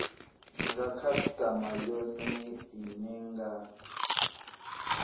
nga khasitama yone ine nga